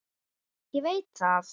Ég veit það